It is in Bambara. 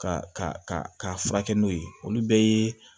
Ka ka ka furakɛ n'o ye olu bɛɛ ye